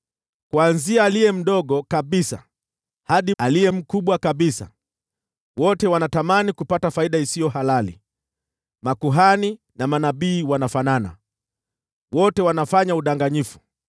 “Kuanzia aliye mdogo kabisa hadi aliye mkubwa kabisa, wote wana tamaa ya kupata faida zaidi; manabii na makuhani wanafanana, wote wanafanya udanganyifu.